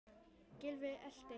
Gylfi elti.